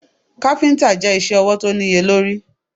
Káfíntà je isẹ́ ọwọ̀ tó níye lórí.